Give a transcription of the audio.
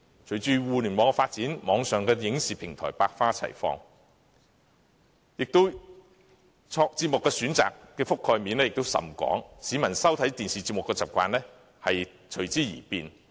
隨着互聯網發展，網上影視平台百花齊放，節目選擇的覆蓋面也甚廣，市民收看電視節目的習慣隨之而變。